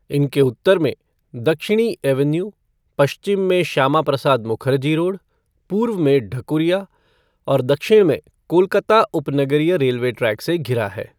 इनके उत्तर में दक्षिणी एवेन्यू, पश्चिम में श्यामाप्रसाद मुखर्जी रोड, पूर्व में ढकुरिया और दक्षिण में कोलकाता उपनगरीय रेलवे ट्रैक से घिरा है।